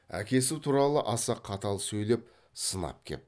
әкесі туралы аса қатал сөйлеп сынап кеп